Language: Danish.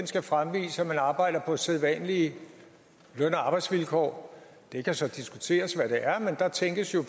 skal fremgå at man arbejder på sædvanlige løn og arbejdsvilkår det kan så diskuteres hvad det er men der tænkes jo